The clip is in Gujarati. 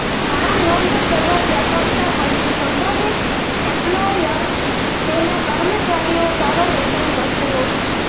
ઘણા નોંધ સર્વવ્યાપકતા પછી સંભવિત એમ્પ્લોયર તેના કર્મચારીઓ સારો વેતન વચનો છે